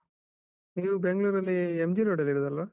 ನೀವು ಬೆಂಗ್ಳೂರಲ್ಲಿ MG road ಅಲ್ಲಿ ಇರುದಲ್ಲ?